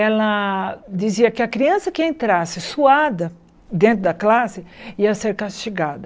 Ela dizia que a criança que entrasse suada dentro da classe ia ser castigada.